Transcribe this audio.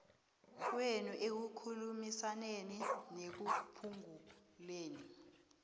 kwenu ekukhulumisaneni nekuphunguleni